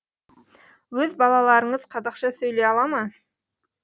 өз балаларыңыз қазақша сөйлей ала ма